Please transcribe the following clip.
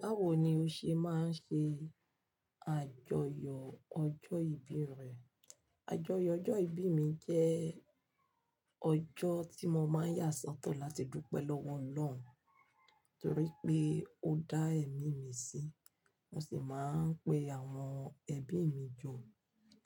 Báwo ni o ṣe máa ń ṣe àjọyọ̀ ọjọ́ ìbí rẹ? Àjọyọ̀ ọjọ́ ìbí mi jẹ́ ọjọ́ tí mo máa ń yà sọ́tọ̀ láti dúpẹ́ lọ́wọ́ Ọlọ́run torí pé ó dá ẹ̀mí mí sí. Mo sì máa ń pe àwọn ẹbí mi jọ